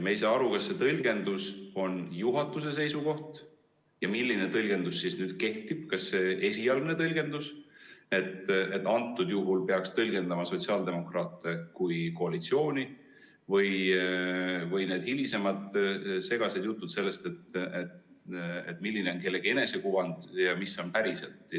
Me ei saa aru, kas see tõlgendus on juhatuse seisukoht ja milline tõlgendus siis kehtib – kas see esialgne tõlgendus, et antud juhul peaks võtma sotsiaaldemokraate kui koalitsiooni, või hilisemad segased jutud sellest, milline on kellegi enesekuvand ja mis on päriselt.